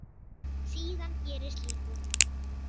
Síðan gerist lítið.